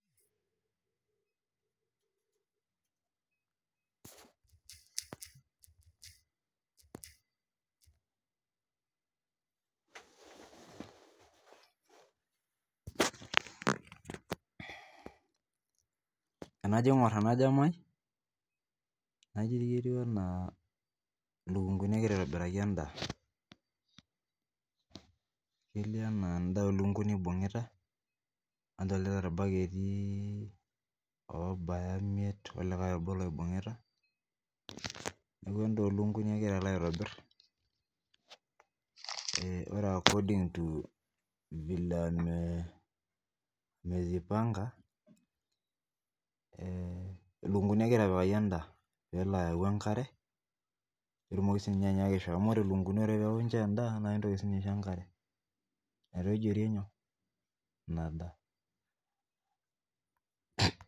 tenajo aingor ele jamai etiu ana inkukui eitobirakita endaa. Adolita irbaketi obaya imiet olikae obo oibungita. Endaa oolukunkuni eloito aitobir. Ore akoding tu ilikunguni eishorita endaa amuu enare neishori enkare teneidip endaa. Naitoijorie ina daa.